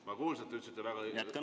Ma kuulsin, te ütlesite "väga õigesti".